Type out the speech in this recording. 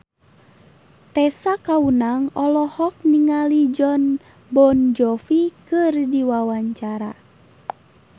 Tessa Kaunang olohok ningali Jon Bon Jovi keur diwawancara